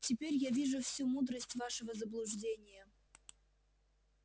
теперь я вижу всю мудрость вашего заблуждения